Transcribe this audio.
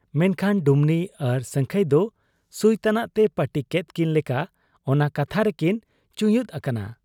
ᱢᱮᱱᱠᱷᱟᱱ ᱰᱩᱢᱱᱤ ᱟᱨ ᱥᱟᱹᱝᱠᱷᱟᱹᱭ ᱫᱚ ᱥᱩᱭ ᱛᱟᱱᱟᱜᱛᱮ ᱯᱟᱹᱴᱤ ᱠᱮᱫ ᱠᱤᱱ ᱞᱮᱠᱟ ᱚᱱᱟ ᱠᱟᱛᱷᱟ ᱨᱮᱠᱤᱱ ᱪᱩᱭᱩᱸᱫ ᱟᱠᱟᱱᱟ ᱾